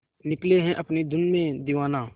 निकले है अपनी धुन में दीवाना